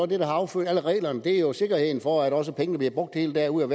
det der har affødt alle reglerne det er jo sikkerheden for at også pengene bliver brugt helt derude og